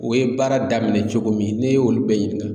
O ye baara daminɛ cogo min n'e y'olu bɛɛ ɲininka